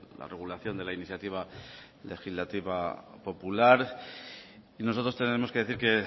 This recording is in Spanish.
la regulación de la iniciativa legislativa popular y nosotros tenemos que decir que